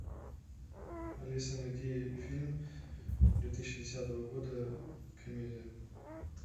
алиса найди фильм две тысячи десятого года комедия